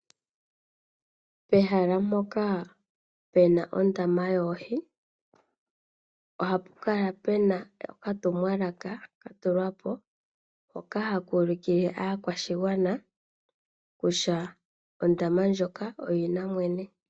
Pehala mpoka pena ondama yoohi ohapu kala pena okatumwalaka katulwa po hoka haka ulikile aakwashigwana kutya ondama ndjoka oyina mwene.